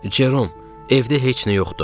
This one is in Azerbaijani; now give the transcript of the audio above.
Cerom, evdə heç nə yoxdur.